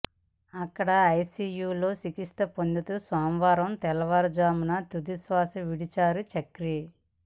అక్కడ ఐసీయూలో చికిత్స పొందుతూ సోమవారం తెల్లవారుజామున తుదిశ్వాస విడిచారు చక్రి